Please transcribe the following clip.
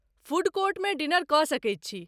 Food कोर्टमे dinner कऽ सकैत छी।